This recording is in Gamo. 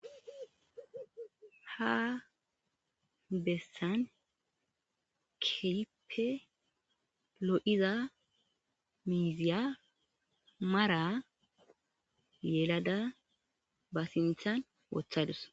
ha bessan keipe lo7iza miiziya mara yelada ba sinthan wothadus